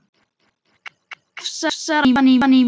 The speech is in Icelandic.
Krafsar aftan í mig.